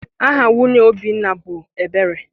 Aha nwunye Obinna bụ Ebere.